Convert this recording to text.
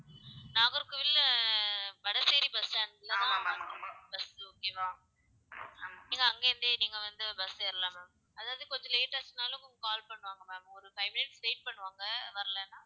நாகர்கோவில்ல ஆஹ் Vadasery bus stand ல தான் bus okay வா நீங்க அங்கிருந்தே நீங்க வந்து, bus ஏறலாம் ma'am அதாவது கொஞ்சம் late ஆச்சுன்னாலும் உங்களுக்கு call பண்ணுவாங்க ma'am ஒரு five minutes wait பண்ணுவாங்க வரலைன்னா